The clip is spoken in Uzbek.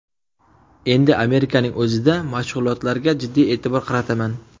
Endi Amerikaning o‘zida mashg‘ulotlarga jiddiy e’tibor qarataman.